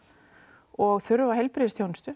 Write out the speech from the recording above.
og þurfa heilbrigðisþjónustu